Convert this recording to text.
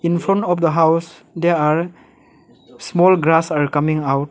in front of the house they are small grass are coming out.